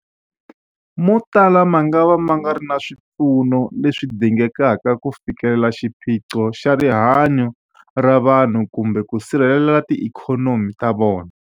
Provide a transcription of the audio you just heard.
Motala mangava ma nga ri na swipfuno leswi dingekaka ku fikelela xiphiqo xa rihanyu ra vanhu kumbe ku sirhelela tiikhonomi ta vona.